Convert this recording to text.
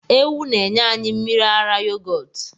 Ewu na enye anyi mmiri ara yogọtu.